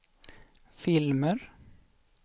filmer